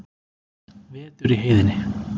Vetur í heiðinni.